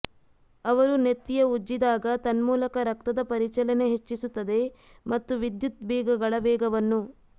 ಅವರು ನೆತ್ತಿಯ ಉಜ್ಜಿದಾಗ ತನ್ಮೂಲಕ ರಕ್ತದ ಪರಿಚಲನೆ ಹೆಚ್ಚಿಸುತ್ತದೆ ಮತ್ತು ವಿದ್ಯುತ್ ಬೀಗಗಳ ವೇಗವನ್ನು